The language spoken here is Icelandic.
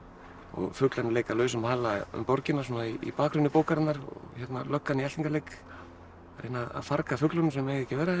fuglarnir leika lausum hala um borgina svona í bakgrunni bókarinnar og löggan í eltingaleik að reyna að farga fuglum sem eiga ekki að vera hérna